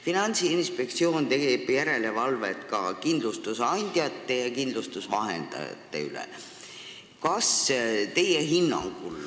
Finantsinspektsioon teeb järelevalvet ka kindlustusandjate ja kindlustusvahendajate üle.